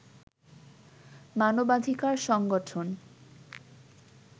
মানবাধিকার সংগঠন